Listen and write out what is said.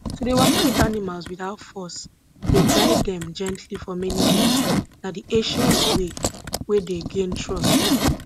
to dey waka with animals without force dey guide dem gently for many years na di ancient way wey dey gain trust